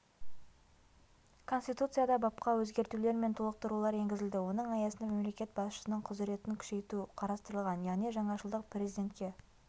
конституцияда бапқа өзгертулер мен толықтырулар енгізілді оның аясында мемлекет басшысының құзыретін күшейту қарастырылған яғни жаңашылдық президентке